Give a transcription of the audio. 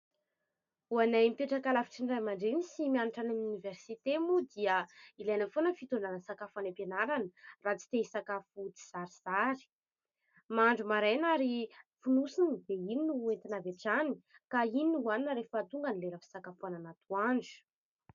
Ho anay mipetraka lavitry ny ray aman-dreny sy mianatra any amin'ny oniversite moa dia ilaina foana ny fitondrana sakafo any am-pianarana raha tsy te isakafo tsizarizary. Mahandro maraina ary fonosina dia iny no hoentina avy hatrany ka iny no hoanina rehefa tonga ny lera fisakafoanana atoandro.